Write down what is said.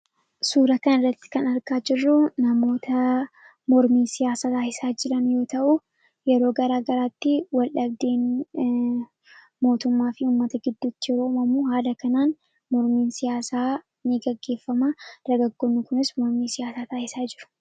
Suuraa kanarratti kan agarru namoota mormii siyaasaa taasisaa jiran yoo ta'u, yeroo garaagaraattii wal dhabdeen mootummaafi uummata gidduutti yoo uummamu haala kanaan mormiin siyaasaa ni gaggeefama. Dargaggoonni kunis mormii siyaasaa taasisaa jiru.